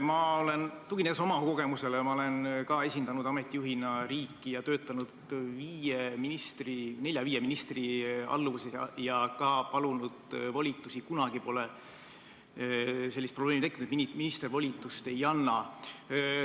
Ma räägin, tuginedes oma kogemusele, sest ma olen esindanud ameti juhina riiki, töötanud nelja-viie ministri alluvuses ja ka palunud volitusi, kuid kunagi pole tekkinud sellist probleemi, et minister volitust ei anna.